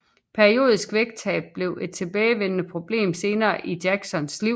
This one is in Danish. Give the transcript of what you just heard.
Periodisk vægttab blev et tilbagevendende problem senere i Jacksons liv